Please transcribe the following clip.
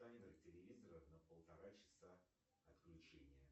таймер телевизора на полтора часа отключение